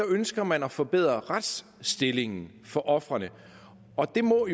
ønsker man at forbedre retsstillingen for ofrene og det må